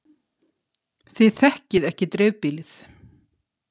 Þið þekkið ekki dreifbýlið.